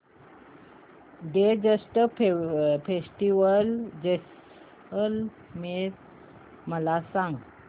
desert festival Jaisalmer मला सांग